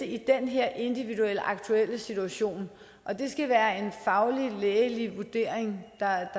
i den her individuelle aktuelle situation og det skal være en faglig lægelig vurdering der